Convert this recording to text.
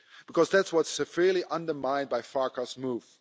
Because that's what's severely undermined by Farkas' move.